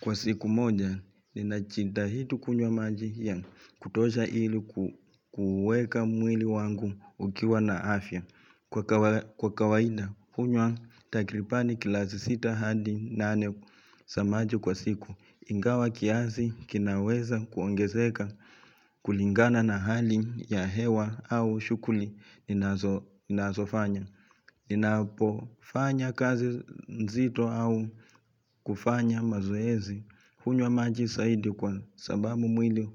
Kwa siku moja, ninajitahidi tu kunywa maji ya kutosha ili kuuweka mwili wangu ukiwa na afya. Kwa kawaida, kunywa takribani glasi sita hadi nane za maji kwa siku. Ingawa kiasi, kinaweza kuongezeka, kulingana na hali ya hewa au shughuli ninazofanya. Ninapo fanya kazi nzito au kufanya mazoezi hunywa maji zaidi kwa sababu mwili